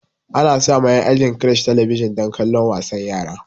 Ana sa ma en ajin crèche talabijan dan kallon wasan yara